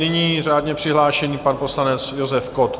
Nyní řádně přihlášený pan poslanec Josef Kott.